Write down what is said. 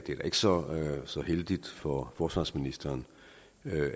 så så heldigt for forsvarsministeren